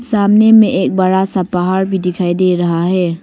सामने में एक बड़ा सा पहाड़ भी दिखाई दे रहा है।